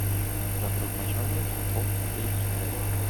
добро пожаловать в поп эйч дэ